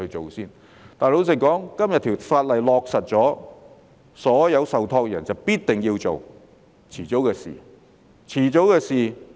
可是，老實說，今天這項法例落實後，所有受託人必定要依從，是遲早的事。